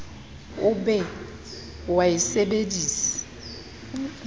o be o a sebedise